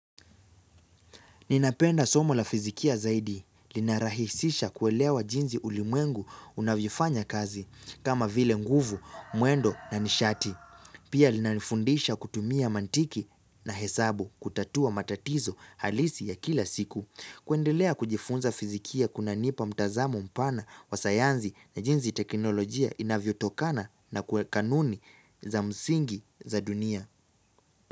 Ninapenda somo la fisikia zaidi, linarahisisha kuelewa jinsi ulimwengu unavypfanya kazi, kama vile nguvu, muendo na nishati. Pia linalifundisha kutumia mantiki na hesabu kutatua matatizo halisi ya kila siku. Kuendelea kujifunza fisikia kunanipa mtazamo mpana wa sayansi na jinsi teknolojia inavyo tokana na kuwa kanuni za msingi za dunia.